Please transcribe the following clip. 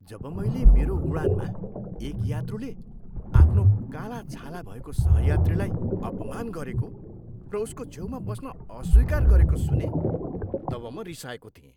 जब मैले मेरो उडानमा एक यात्रुले आफ्नो कालो छाला भएको सहयात्रीलाई अपमान गरेको र उसको छेउमा बस्न अस्वीकार गरेको सुनेँ तब म रिसाएको थिएँ।